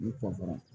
N'i kɔ fara